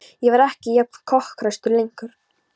Ég var ekki jafn kokhraustur lengur.